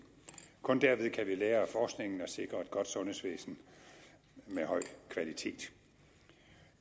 kun derved kan vi lære af forskningen og sikre et godt sundhedsvæsen med høj kvalitet